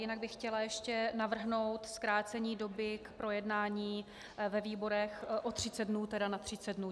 Jinak bych chtěla ještě navrhnout zkrácení doby k projednání ve výborech o 30 dnů, tedy na 30 dnů.